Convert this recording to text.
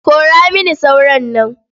Kora mini sauron nan.